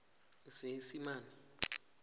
seesimane